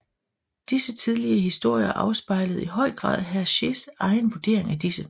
Disse tidlige historier afspejlede i høj grad Hergés egen vurdering af disse